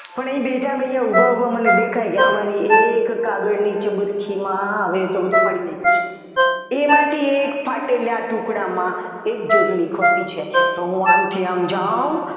પણ એ બેઠા બેઠા ઉભા ઉભા દેખાય કે આમાં એક કાગળની ચબરખીમાં હવે એ તો બધું ફાડી નાખ્યું છે એમાંથી એક ફાટેલા ટુકડામાં એક જોડણી ખોટી છે તો હું આમથી આમ જાવ